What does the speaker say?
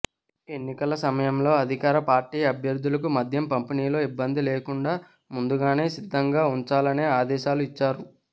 ఎన్నికల సమయంలో అధికార పార్టీ అభ్యర్థులకు మద్యం పంపిణీలో ఇబ్బంది లేకుండా ముందుగానే సిద్ధంగా ఉంచాలనే ఆదేశాలు ఇచ్చారు